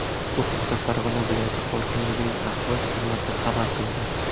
Bu haqda Farg‘ona viloyati hokimligining axborot xizmati xabar qilgan .